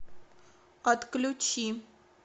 отключи